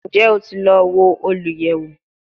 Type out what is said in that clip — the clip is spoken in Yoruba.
Njẹ o ti lọ wo oluyẹwo?